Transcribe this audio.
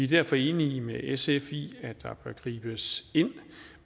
derfor enige med sf i at der bør gribes ind